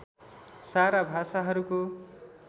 सारा भाषाहरूको